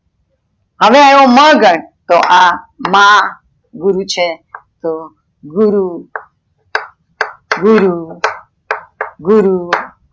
હવે ઈવો મ ગણ તો આ માં ગુરુ છે તો, ગુરુ ગુરુ ગુરુ